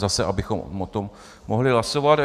Zase, abychom o tom mohli hlasovat.